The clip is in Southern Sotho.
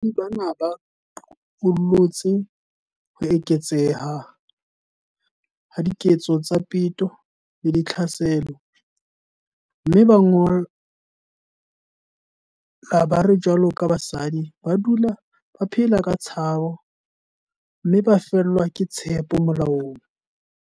Baahi bana ba qollotse ho eketseha ha diketso tsa peto le ditlhaselo, mme ba ngola ba re jwaloka basadi ba dula ba phela ka tshabo, mme ba fellwa ke tshepo molaong.